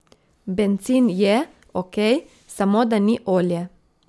Bencin je, okej, samo da ni olje.